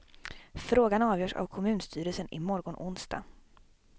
Frågan avgörs av kommunstyrelsen i morgon onsdag.